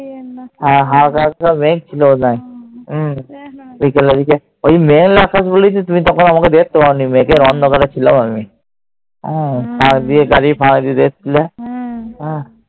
হ্যাঁ। হালকা হালকা মেঘ ছিল মনে হয়। বিকেলের দিকে। ওই মেঘলা আকাশ বলেই তখন তুমি আমায় দেখতে পাওনি। মেঘের অন্ধকারে ছিলাম আমি। গাড়ির ফাঁক দিয়ে দেখছিলে।